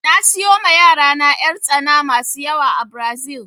Na siyo ma yarana 'yartsana masu yawa a Brazil